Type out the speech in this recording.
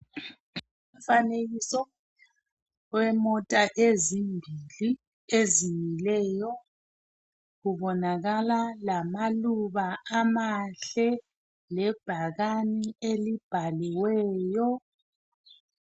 Umfanekiso wemota ezimbili ezimileyo . Kubonakala lamaluba amahle lebhakane elibhaliweyo.